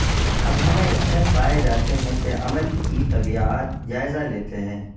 اب ہمیں اس میں پائے جاتے ہیں کہ عمل کی طبیعیات جائزہ لیتے ہیں